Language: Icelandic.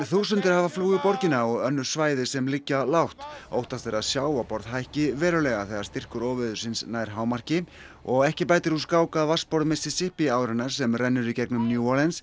þúsundir hafa flúið borgina og önnur svæði sem liggja lágt óttast er að sjávarborð hækki verulega þegar styrkur óveðursins nær hámarki og ekki bætir úr skák að vatnsborð Mississippi árinnar sem rennur í gegnum New